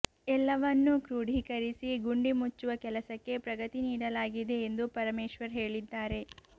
ಎಲ್ಲವನ್ನೂ ಕ್ರೋಢೀಕರಿಸಿ ಗುಂಡಿ ಮುಚ್ಚುವ ಕೆಲಸಕ್ಕೆ ಪ್ರಗತಿ ನೀಡಲಾಗಿದೆ ಎಂದು ಪರಮೇಶ್ವರ್ ಹೇಳಿದ್ದಾರೆ